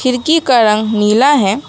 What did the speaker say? खिड़की का रंग नीला है।